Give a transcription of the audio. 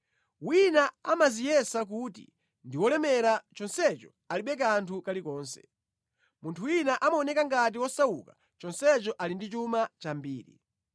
Wina amadziyesa kuti ndi wolemera chonsecho alibe kanthu kalikonse; munthu wina amaoneka ngati wosauka chonsecho ali ndi chuma chambiri.